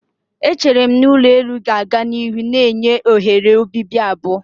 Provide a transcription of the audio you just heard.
Eche m na ulo elu ga-aga n'ihu na-enye oghere obibi abụọ.